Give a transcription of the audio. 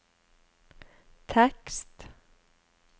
tekst